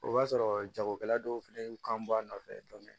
O b'a sɔrɔ jagokɛla dɔw fɛnɛ kan b'a nɔfɛ